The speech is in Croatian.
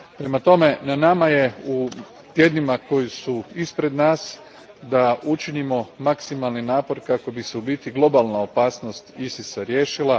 Prema tome, na nama je u tjednima koji su ispred nas da učinimo maksimalni napor kako bi se u biti globalna opasnost ISIS a riješila.